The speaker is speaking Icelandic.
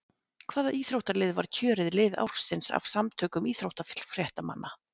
Hvaða íþróttalið var kjörið lið ársins af samtökum íþróttafréttamanna?